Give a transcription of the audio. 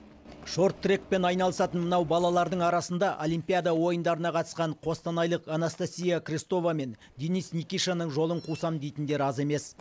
шорт трекпен айналысатын мынау балалардың арасында олимпиада ойындарына қатысқан қостанайлық анастасия крестова мен денис никишаның жолын қусам дейтіндер аз емес